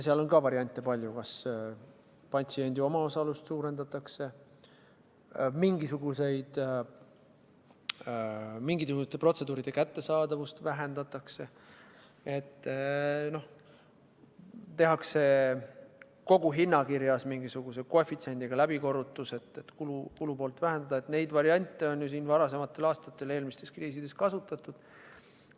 Seal on ka variante palju: kas patsiendi omaosalust suurendatakse, mingisuguste protseduuride kättesaadavust vähendatakse, tehakse kogu hinnakirjas mingisuguse koefitsiendiga läbikorrutus, et kulupoolt vähendada – neid variante on siin varasematel aastatel eelmistes kriisides kasutatud.